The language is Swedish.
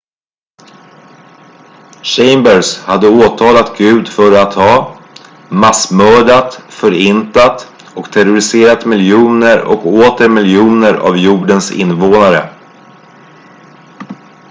"chambers hade åtalat gud för att ha "massmördat förintat och terroriserat miljoner och åter miljoner av jordens invånare"".